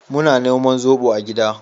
Muna noman zobo a gida